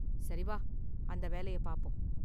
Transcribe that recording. சரி வா அந்த வேலய பாப்போம்.